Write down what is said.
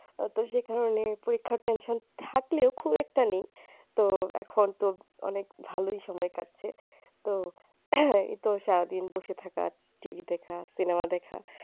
তো সেখানে পরীক্ষার tension থাকলেও খুব একটা নেই তো এখন তো অনেক ভালোই সময় কাটছে তো এই তো সারা দিন বসে থাকা TV দেখা cinema দেখা